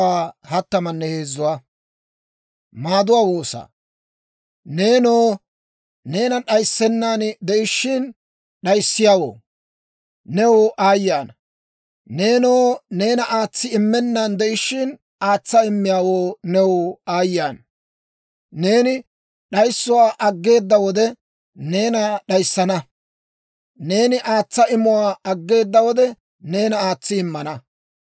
Neenoo, neena d'ayissennan de'ishshin d'ayissiyaawoo, new aayye ana! Neenoo, neena aatsi immennan de'ishshin, aatsa immiyaawoo, new aayye ana! Neeni d'ayissuwaa aggeeda wode neena d'ayissana; neeni aatsa imuwaa aggeeda wode neena aatsi immana.